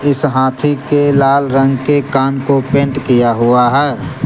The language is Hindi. इस हाथी के लाल रंग के कान को पेंट किया हुआ है।